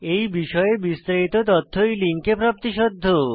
এই বিষয়ে বিস্তারিত তথ্য এই লিঙ্কে প্রাপ্তিসাধ্য